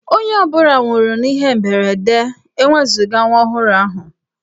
Onye ọ bụla nwụrụ n'ihe mberede ewezuga nwa ọhụrụ ahụ.